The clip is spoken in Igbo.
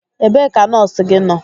Ebee ka nọọsụ gị nọ?